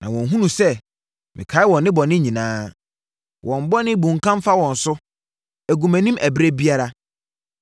Na wɔnhunu sɛ mekae wɔn nnebɔne nyinaa. Wɔn bɔne bunkam fa wɔn so; ɛgu mʼanim ɛberɛ biara.